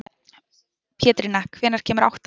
Pétrína, hvenær kemur áttan?